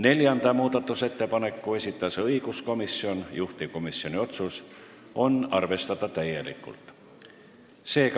Neljanda muudatusettepaneku esitas õiguskomisjon, juhtivkomisjoni otsus: arvestada täielikult.